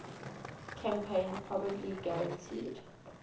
campaign probably guaranteed